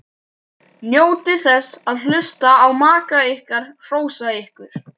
Njótið þess að hlusta á maka ykkar hrósa ykkur.